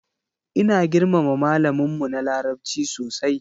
Ina girmama malamin mu na larabci sosai.